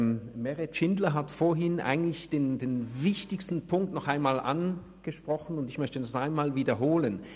Meret Schindler hat vorhin eigentlich den wichtigsten Punkt noch einmal angesprochen, und ich möchte diesen noch einmal wiederholen.